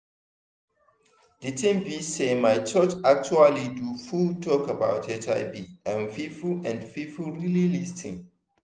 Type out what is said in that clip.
the thing be saymy church actually do full talk about hiv and people and people really lis ten